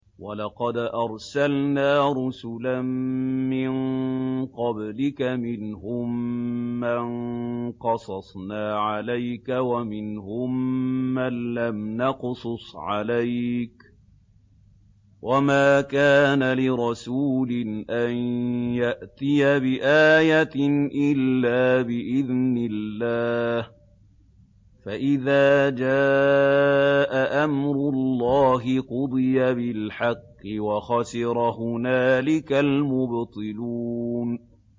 وَلَقَدْ أَرْسَلْنَا رُسُلًا مِّن قَبْلِكَ مِنْهُم مَّن قَصَصْنَا عَلَيْكَ وَمِنْهُم مَّن لَّمْ نَقْصُصْ عَلَيْكَ ۗ وَمَا كَانَ لِرَسُولٍ أَن يَأْتِيَ بِآيَةٍ إِلَّا بِإِذْنِ اللَّهِ ۚ فَإِذَا جَاءَ أَمْرُ اللَّهِ قُضِيَ بِالْحَقِّ وَخَسِرَ هُنَالِكَ الْمُبْطِلُونَ